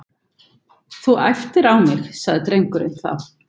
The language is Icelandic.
Þú æptir á mig- sagði drengurinn þá.